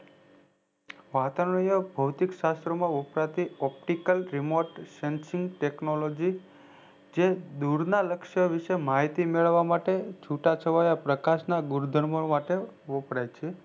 વાતાવણીય ભોતિક શાસ્ત્ર માં વપરાતી optical remote sensing technologies જે દુરના લક્ષ્ય વિશે માહિતી મેળવવા માટે છુટાછવાયા પ્રકાશના ગુણઘર્મો માટે વપરાય છે